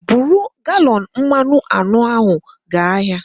Buru galọn mmanụ anọ ahụ gaa ahịa